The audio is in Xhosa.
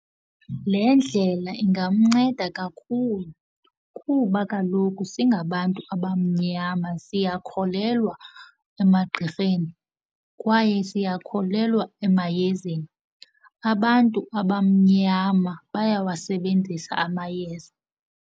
Le ndlela ingamnceda kakhulu kuba kaloku singabantu abamnyama siyakholelwa emagqirheni kwaye siyakholelwa emayezeni abantu. Abamnyama bayawasebenzisa amayeza.